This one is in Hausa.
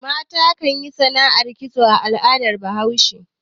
Mata ke yin sana'ar kitso a al'adar Bahaushe